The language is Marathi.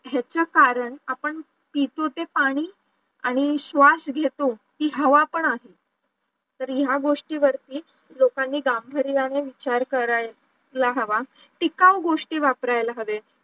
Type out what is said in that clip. ह्याचा कारण आपण पितो ते पाणी स्वाश घेतो ती हवा पण आहे तरी या गोष्टी वरती लोकांनी गांभीर्यानी विचार करायला हवा टिकाऊ गोष्टी वापरायला हव्या